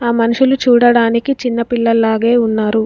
ఆ మనుషులు చూడడానికి చిన్న పిల్లలాగే ఉన్నారు.